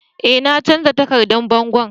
Eh na canza takardan bangon.